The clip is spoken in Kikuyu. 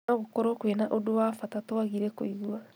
Nogũkorwo kwĩna ũndũ wa bata twagire kũigua